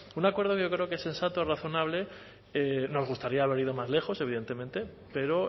un acuerdo yo creo que sensato y razonable y nos gustaría haber ido más lejos evidentemente pero